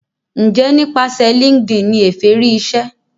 njé nípasẹ linkedin ní Efe rí ìṣe?